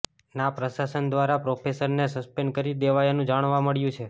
ના પ્રશાસન દ્વારા પ્રોફેસરને સસ્પેન્ડ કરી દેવાયાનું જાણવા મળ્યું છે